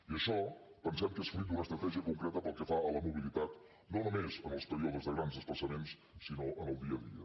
i això pensem que és fruit d’una estratègia concreta pel que fa a la mobilitat no només en els períodes de grans desplaçaments sinó en el dia a dia